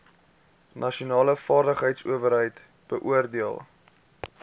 nasionale vaardigheidsowerheid beoordeel